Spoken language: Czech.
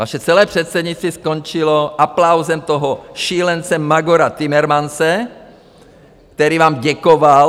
Vaše celé předsednictví skončilo aplausem toho šílence, magora Timmermanse, který vám děkoval.